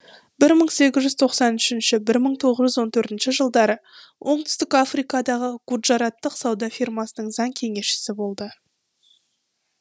бір мың сегіз жүз тоқсан үшінші бір мың тоғыз жүз он төртінші жылдары оңтүстік африкадағы гуджараттық сауда фирмасының заң кеңесшісі болды